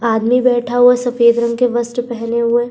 आदमी बैठा हुआ है सफेद रंग के वस्त्र पहने हुए।